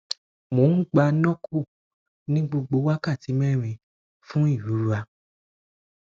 mo n gba norco ni gbogbo wakati mẹrin fun irora